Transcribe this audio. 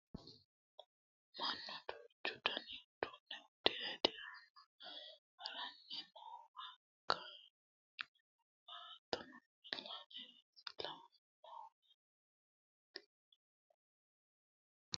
mannu duuchu dani uduunne uddire dirame haranni noowa kameeluno noowa hattono wi'late base lawannowa ikkasinna caabbichu shiwono noowa ikkasi xawissanno